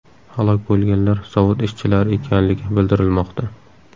Halok bo‘lganlar zavod ishchilari ekanligi bildirilmoqda.